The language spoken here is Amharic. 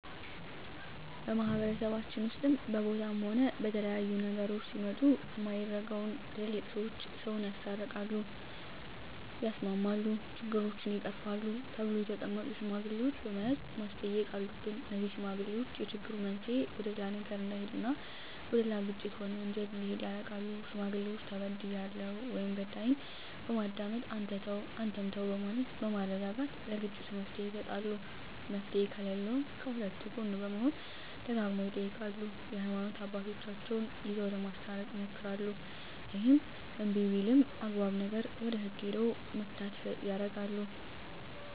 በማህበረሰባችን ውስጥም በቦታም ሆነ በተለያዩ ነገሮች ሲመጡ ሚደረገው ትላልቅ ሰዎች ሰውን ያስታርቃል ያስማማሉ ችግሮችን ይቀርፋሉ ተብለው የተቀመጡ ሽማግሌዎች በመያዝ ማስተየቅ አሉብን እነዜህ ሽማግሌዎች የችግሩ መንሰየ ወደሌላ ነገር እዳሄድ እና ወደሌላ ግጭት ሆነ ወንጀል እንዲሄድ ያረጋሉ ሽማግሌዎች ተበድያለሁ ወይም በዳይን በማዳመጥ አንተ ተው አንተም በማለት በማረጋጋት ለግጭቱ መፍትሔ ይሰጣሉ መፍትሔ ከለለውም ከሁለቱ ጎን በመሆን ደጋግመው ይጠይቃሉ የሀይማኖት አባቶቻቸው ይዘው ለማስታረቅ ይሞክራሉ እሄም እንብይ ቢልም አግባብ ነገር ወደ ህግ ሄደው መፋተየ ያረጋሉ